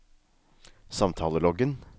samtaleloggen